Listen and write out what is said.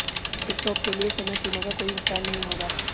TikTok के लिए समयसीमा का कोई विस्तार नहीं होगा